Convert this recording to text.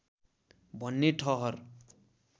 भन्ने ठहर